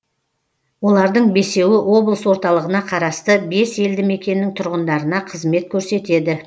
олардың бесеуі облыс орталығына қарасты бес елді мекеннің тұрғындарына қызмет көрсетеді